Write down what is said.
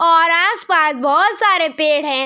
और आस-पास बहुत सारे पेड़ हैं।